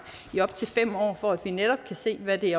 i op til fem år for at vi netop kan se hvad det